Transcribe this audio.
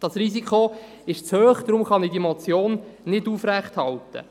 Dieses Risiko ist zu hoch, und deshalb kann ich die Motion nicht aufrechterhalten.